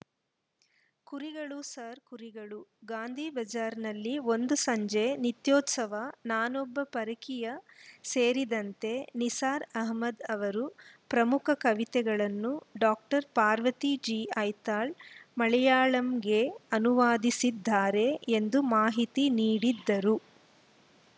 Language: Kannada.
ಕುರಿಗಳು ಸಾರ್‌ ಕುರಿಗಳು ಗಾಂಧಿಬಜಾರ್‌ನಲ್ಲಿ ಒಂದು ಸಂಜೆ ನಿತ್ಯೋತ್ಸವ ನಾನೊಬ್ಬ ಪರಕೀಯ ಸೇರಿದಂತೆ ನಿಸಾರ್‌ ಅಹಮದ್‌ ಅವರ ಪ್ರಮುಖ ಕವಿತೆಗಳನ್ನು ಡಾಕ್ಟರ್ ಪಾರ್ವತಿ ಜಿಐತಾಳ್‌ ಮಲೆಯಾಳಂಗೆ ಅನುವಾದಿಸಿದ್ದಾರೆ ಎಂದು ಮಾಹಿತಿ ನೀಡಿದರು